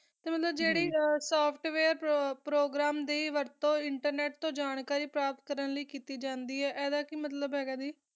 ਤਾ ਓਹੋ ਜਰਾ software program ਨਾ ਜਰਾ ਓਨਾ ਦੀ internet ਤੋ ਜਾਨ ਕਰੀ ਲਾ ਸਕਦੀ ਆ ਪ੍ਰਾਪਤ ਕਾਤੀ ਜਾ ਸਕਦੀ ਆ ਅੰਦਾ ਕੀ ਮਤਲਬ ਆ